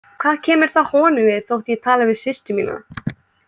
Hvað kemur það honum við þótt ég tali við systur mína?